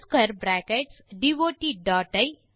replace the dot with